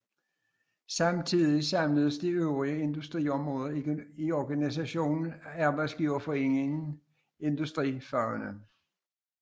Samtidig samledes de øvrige industriområder i organisationen Arbejdsgiverforeningen Industrifagene